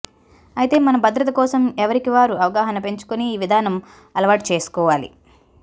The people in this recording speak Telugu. అయితే మన భద్రత కోసం ఎవరికి వారు అవగాహన పెంచుకుని ఈ విధానం అలవాటు చేసుకోవాలి